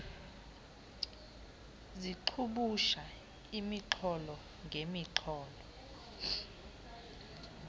zixubusha imixholo ngemixholo